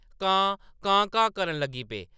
कां कां-कां करन लगी पे।